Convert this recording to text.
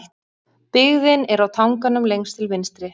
Byggðin er á tanganum lengst til vinstri.